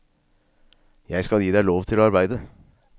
Jeg skal gi deg lov til å arbeide.